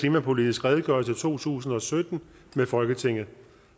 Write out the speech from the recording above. klimapolitisk redegørelse to tusind og sytten med folketinget